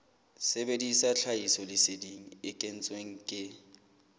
sebedisa tlhahisoleseding e kentsweng ke